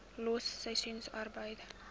los seisoensarbeid